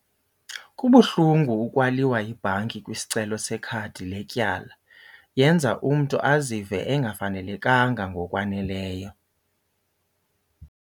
Kubuhlungu ukwaliwa yibhanki kwisicelo sekhadi letyala. Yenza umntu azive engafanelekanga ngokwaneleyo.